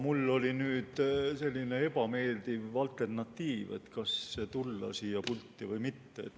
Ma olin nüüd sellise ebameeldiva alternatiivi ees, kas tulla siia pulti või mitte.